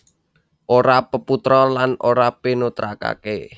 Ora peputra lan ora pinutrakaké